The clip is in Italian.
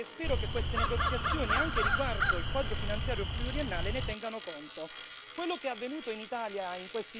Questi sono i punti chiave del futuro e spero che queste negoziazioni, anche riguardo al quadro finanziario pluriennale, ne tengano conto.